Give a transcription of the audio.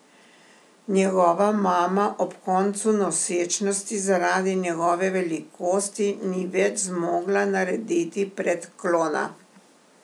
Njegova mama ob koncu nosečnosti zaradi njegove velikosti ni več zmogla narediti predklona.